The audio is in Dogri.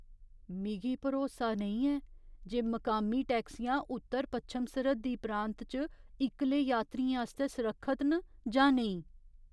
मिगी भरोसा नेईं ऐ जे मकामी टैक्सियां उत्तर पच्छम सरहद्दी प्रांत च इक्कले यात्रियें आस्तै सुरक्खत न जां नेईं।